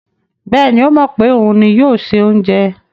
Bẹ́ẹ̀ni, ó mọ̀ pé òun ni yóò se oúnjẹ.